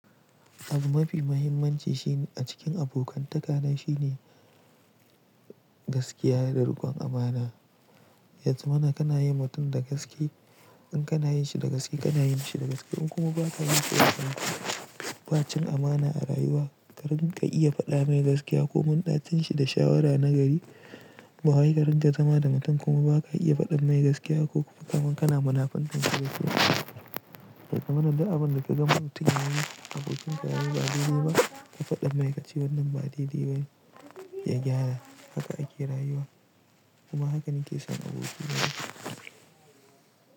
Abu mafi muhimmanci a cikin abokantaka na shine gaskiya da riƙon amana. Yanzu mana kana yin mutum da gaske, in kana yin shi da gaske, kana yin shi da gaske. In kuma ba ka yi shi da gaske, ba cin amana a rayuwa. Karin ka iya faɗa mai gaskiya ko mun ɗacinshi da shawara na gari, ba wai karinga zama da mutum kuma ba ka iya faɗa mai gaskiya ko kaman kana munafurtansa Ya zamana, duk abin da ka ga mutum yayi, abokin ka yayi ba dai dai ba, ka faɗa mai kace wannan ba dai dai bane ya gyara. Haka ake rayuwa kuma haka nake son abokai na.